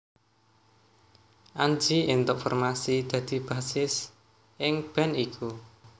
Anji éntuk formasi dadi bassis ing band iku